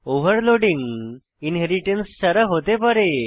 overloading inheritance ছাড়া হতে পারে